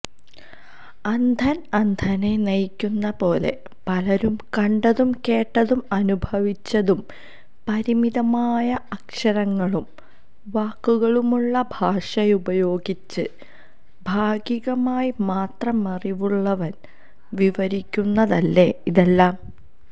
അന്ധന് അന്ധനെ നയിക്കുന്നതുപോലെ പലരും കണ്ടതും കേട്ടതും അനുഭവിച്ചതും പരിമിതമായ അക്ഷരങ്ങളും വാക്കുകളുമുള്ള ഭാഷയുപയോഗിച്ച് ഭാഗികമായി മാത്രമറിവുള്ളവന് വിവരിക്കുന്നതല്ലേ ഇതെല്ലാം